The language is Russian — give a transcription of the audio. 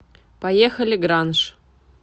поехали гранж